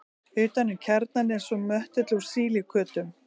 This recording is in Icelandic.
utan um kjarnann er svo möttull úr sílíkötum